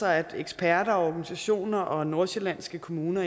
at eksperter og organisationer og nordsjællandske kommuner